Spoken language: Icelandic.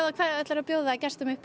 hvað ætlarðu að bjóða gestum upp